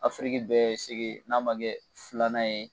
Afiriki bɛɛ sege n'a ma kɛ filanan ye